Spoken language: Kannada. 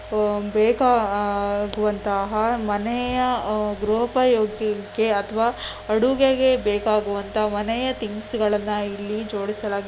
ಆಹ್ ಬೇಕ ಆಗುವಂತಹ ಆಹಾರ ಮನೆಯ ಗೃಹಪಯೋಗಕ್ಕೆ ಅಥವಾ ಅಡುಗೆಗೆ ಬೆಕಾಗುವಂತಹ ಮನೆಯ ತಿನಿಸುಗಳನ್ನ ಇಲ್ಲಿ ಜೊಡಿಸಲಾಗಿ .